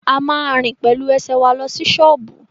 A ma rìn pẹ̀lú ẹsẹ̀ wa lọ sí ṣọ́ọ̀bú